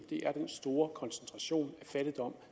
er den store koncentration af fattigdom